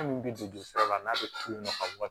Hali min bɛ don sira la n'a bɛ tulon ka